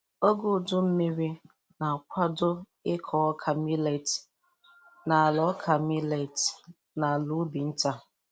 Oge udu mmiri na-kwado ịkọ ọka milet n'ala ọka milet n'ala ubi nta.